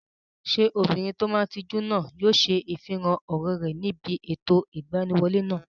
Ṣé obìnrin tó máa n tijú náà yóò ṣe ifihàn ọ̀rọ̀ rẹ̀ níbi ètò ìgbaniwọlé náà?